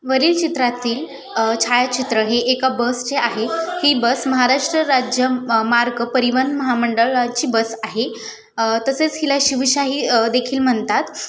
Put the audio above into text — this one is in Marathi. वरील चित्रातील छायाचित्र हे एका बस चे आहे. ही बस महाराष्ट्र राज्य मार्ग परिवहन महामंडळाची बस आहे. अ तसेच हिला शिवशाही देखील म्हणतात.